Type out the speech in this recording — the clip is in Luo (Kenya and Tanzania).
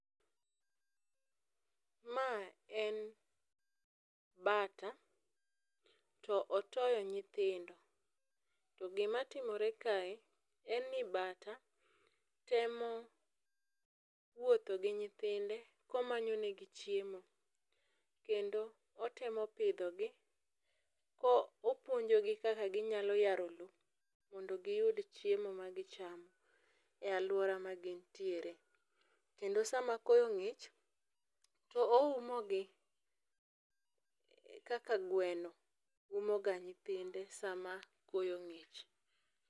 Ma en bata to otoyo nyithindo, to gima timore kae en ni bata temo wuotho gi nyithinde komanyo ne gi chiemo . Kendo otemo pidho gi kopuonjogi kaka ginyalo yaro loo mondo giyud chiemo ma gichamo e aluora ma gintiere. Kendo sama koyo ng'ich oumo gi kaka gweno umo ga nyithinde sama koyo ng'ich.